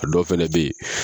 A dɔ fɛnɛ be yen